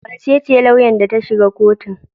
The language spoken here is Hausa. Wa ce ce lauyan da ta shiga kotun?